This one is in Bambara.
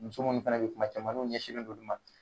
Muso nunnu fɛnɛ be yen kuma caman n'u ɲɛsinnen don olu ma